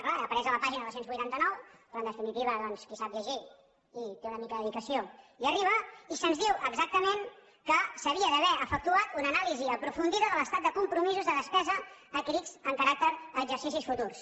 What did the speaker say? clar apareix a la pàgina dos cents i vuitanta nou que en definitiva doncs qui sap llegir i té una mica de dedicació hi arriba i se’ns diu exactament que s’havia d’haver efectuat una anàlisi aprofundida de l’estat de compromisos de despesa adquirits amb caràcter a exercicis futurs